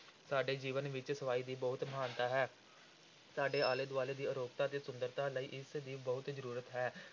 ਸਾਡੇ ਜੀਵਨ ਵਿੱਚ ਸਫ਼ਾਈ ਦੀ ਬਹੁਤ ਮਹਾਨਤਾ ਹੈ, ਸਾਡੇ ਆਲੇ ਦੁਆਲੇ ਦੀ ਅਰੋਗਤਾ ਤੇ ਸੁੰਦਰਤਾ ਲਈ ਇਸ ਦੀ ਬਹੁਤ ਜ਼ਰੂਰਤ ਹੈ।